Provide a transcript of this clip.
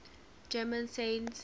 german saints